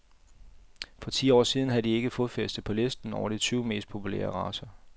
For ti år siden havde de ikke fodfæste på listen over de tyve mest populære racer.